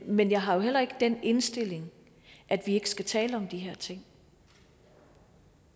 men jeg har jo heller ikke den indstilling at vi ikke skal tale om de her ting